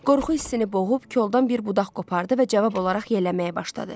Qorxu hissini boğub koldan bir budaq qopardı və cavab olaraq yelləməyə başladı.